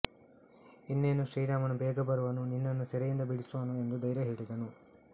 ಇನ್ನೇನು ಶ್ರೀರಾಮನು ಬೇಗ ಬರುವನು ನಿನ್ನನ್ನು ಸೆರೆಯಿಂದ ಬಿಡಿಸುವನು ಎಂದು ಧೈರ್ಯ ಹೇಳಿದನು